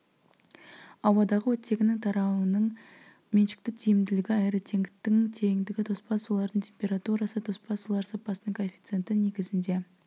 ауадағы оттегінің тарауының меншікті тиімділігі аэротенктің тереңдігі тоспа сулардың температурасы тоспа сулар сапасының коэффициенті негізінде